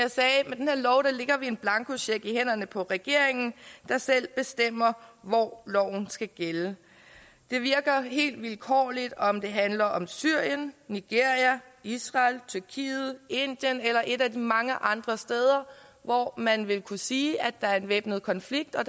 en blankocheck i hænderne på regeringen der selv bestemmer hvor loven skal gælde det virker helt vilkårligt om det handler om syrien nigeria israel tyrkiet indien eller et af de mange andre steder hvor man vil kunne sige at der er en væbnet konflikt og